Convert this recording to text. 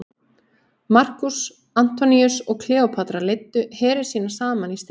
markús antoníus og kleópatra leiddu heri sína saman í stríðið